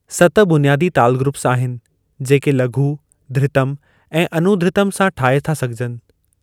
सत बुनियादी ताल ग्रुप्‍स आहिनि, जेके लघु, धृतम, ऐं अनुधृतम सां ठाए था सघजनि।